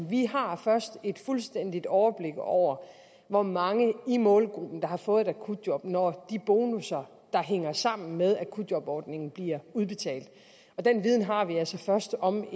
vi har først et fuldstændigt overblik over hvor mange i målgruppen der har fået et akutjob når de bonusser der hænger sammen med akutjobordningen bliver udbetalt og den viden har vi altså først om